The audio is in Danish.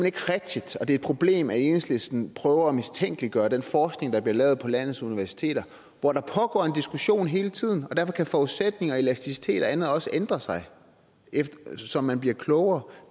ikke rigtigt og det er et problem at enhedslisten prøver at mistænkeliggøre den forskning der bliver lavet på landets universiteter hvor der pågår en diskussion hele tiden og derfor kan forudsætninger og elasticitet og andet også ændre sig så man bliver klogere